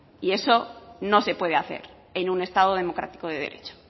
y eso no se puede hacer en un estado democrático de derecho